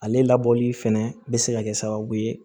Ale labɔli fɛnɛ bɛ se ka kɛ sababu ye